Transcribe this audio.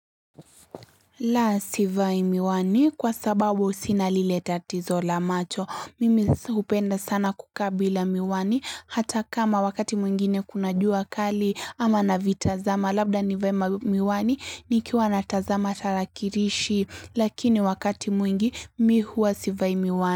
La sivai miwani kwa sababu sina lileta tatizo la macho mimi hupenda sana kukabila miwani hata kama wakati mwingine kunajua kali ama na vitazama labda ni vae miwani nikiwa na tazama atarakirishi lakini wakati mwingi mimi huwa sivai miwani.